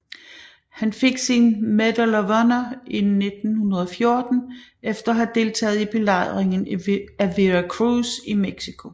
Han fik sin Medal of Honor i 1914 efter at have deltaget i belejringen af Veracruz i Mexico